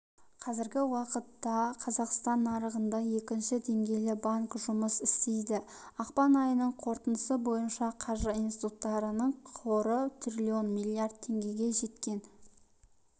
қазіргі уақытта қазақстан нарығында екінші деңгейлі банк жұмыс істейді ақпан айының қорытындысы бойынша қаржы институттарының қоры триллион миллиард теңгеге жеткен